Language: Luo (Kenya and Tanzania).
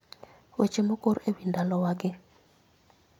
Weche mokor e wi ndalowagi